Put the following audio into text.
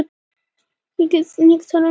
Álfhildur